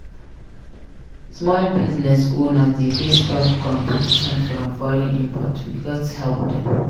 Small business owners dey face tough competition from foreign imports; we gats help dem.